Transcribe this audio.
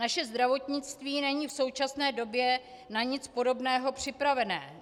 Naše zdravotnictví není v současné době na nic podobného připravené.